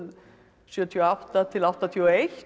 sjötíu og átta til áttatíu og eitt